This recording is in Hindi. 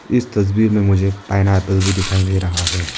इस तस्वीर में मुझे पाइनएप्पल है भी दिखाई दे रहा है।